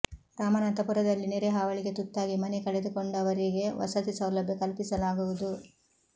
ರಾಮನಾಥಪುರದಲ್ಲಿ ನೆರೆ ಹಾವಳಿಗೆ ತುತ್ತಾಗಿ ಮನೆ ಕಳೆದುಕೊಂಡ ವರಿಗೆ ವಸತಿ ಸೌಲಭ್ಯ ಕಲ್ಪಿಸಲಾಗುವುದು